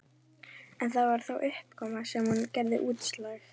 En var það þessi uppákoma sem gerði útslagið?